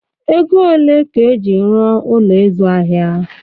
Ego olee ka eji ruo Ụlọ ịzụ ahịa